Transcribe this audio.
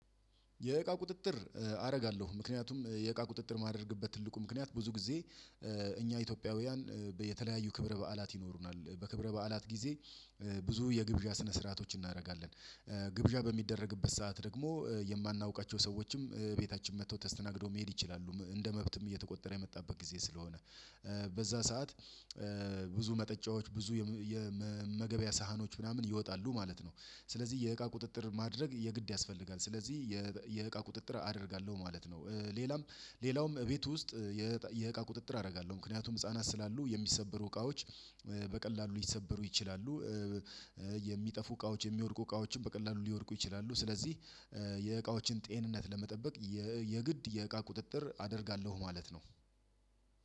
የእቃ ቁጥጥር አደርጋለሁ ምክንያቱም የእቃ ቁጥጥር ማድረግበት ትልቁ ምክንያት ብዙ ጊዜ እኛ ኢትዮጵያውያን የተለያዩ ክብረ በዓላት ይኖሩናል በክብረ በዓላት ጊዜ ብዙ የግብዣ ስነ ስርዓቶች እናደርጋለን ግብዣ በሚደረግበት ሰዓት ደግሞ የማናውቃቸው ሰዎችም ቤታችን መጥተው ተስተናግደው መሄድ ይችላሉ እንደ መብትም እየተቆጠረ የመጣበት ጊዜ ስለሆነ በዛ ሰዓት ብዙ መጠጫዎች ብዙ የመመገበያ ሳህኖች ምናምን ይወጣሉ ማለት ነው። ስለዚህ የእቃ ቁጥጥር ማድረግ የግድ ያስፈልጋል ስለዚህ የእቃ ቁጥጥር አደርጋለሁ ማለት ነው። ሌላም ሌላውም ቤት ውስጥ የእቃ ቁጥጥር አደርጋለሁ ምክንያቱም ህፃናት ስላሉ የሚሰበሩ እቃዎች በቀላሉ ሊሰበሩ ይችላሉ። የሚጠፉ እቃዎች የሚወድቁ እቃዎችን በቀላሉ ሊወድቁ ይችላሉ ስለዚህ የእቃዎችን ጤንነት ለመጠበቅ የግድ የእቃ ቁጥጥር አደርጋለሁ ማለት ነው።